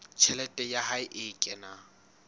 tjhelete ya hae e kenang